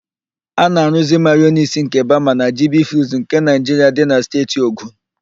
A na-aruuzi mayonis nke bama na jibifuuds nke Naịjiria dị na Steeti Ogun.